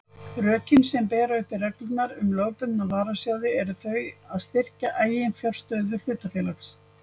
Rökin sem bera uppi reglurnar um lögbundna varasjóði eru þau að styrkja eiginfjárstöðu hlutafélags.